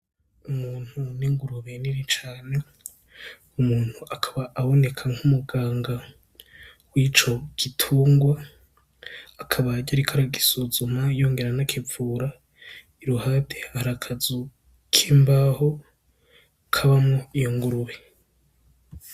Umuntu n'ingurube nini cane, umuntu akaba aboneka nk'umuganga w'ico gitungwa akaba yariko aragusuzuma yongera anakigavurira. Iruhande hari akazu k'imbaho kabamwo iyo ngurube.